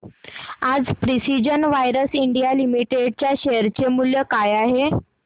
आज precision wires India limited च्या share चे मूल्य काय आहे